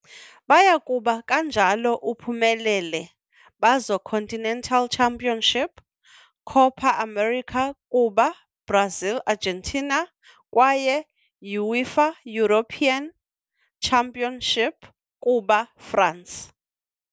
Baya kuba kanjalo uphumelele bazo continental championship, Copa América kuba Brazil Argentina, kwaye UEFA European Championship kuba France.